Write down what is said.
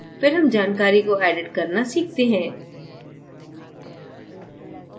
फिर हम जानकारी को edit करना सीखते हैं